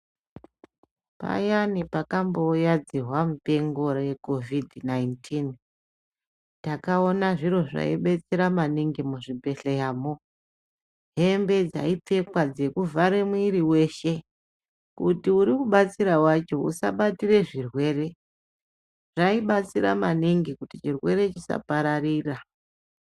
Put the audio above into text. Payani pakambo uya dzihwa mupengo re kovhidhi 19 takaona zviro zvai betsera maningi mu zvibhedhleya mo hembe dzai pfekwa dzeku vhare mwiri weshe kuti uri kubatsira wacho usa batire zvirwere zvai batsira maningi kuti chirwere chisa pararira.